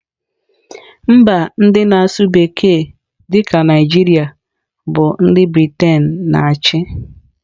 Mba ndị na-asụ bekee dị ka Naijiria bụ ndị Briten na-achị.